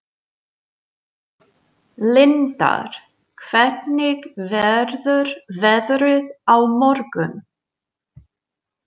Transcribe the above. Lindar, hvernig verður veðrið á morgun?